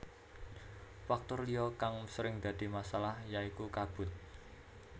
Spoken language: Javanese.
Faktor liya kang sering dadi masalah ya iku kabut